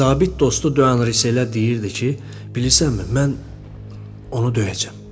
Zabit dostu Döyan Risə elə deyirdi ki, bilirsənmi, mən onu döyəcəm.